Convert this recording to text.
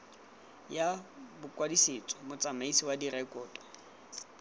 ya bokwadisetso motsamaisi wa direkoto